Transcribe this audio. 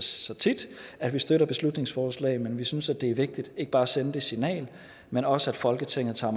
så tit at vi støtter beslutningsforslag men vi synes at det er vigtigt ikke bare at sende det signal men også at folketinget tager